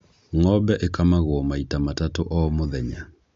Ng'ombe ĩkamagwo maita matatũ o mũthenya.